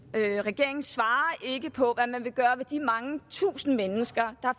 regeringen svarer ikke på hvad man vil gøre med de mange tusinde mennesker der